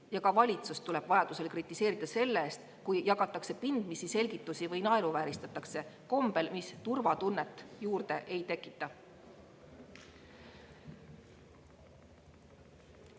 Ja ka valitsust tuleb vajadusel kritiseerida selle eest, kui jagatakse pindmisi selgitusi või naeruvääristatakse kombel, mis turvatunnet juurde ei tekita.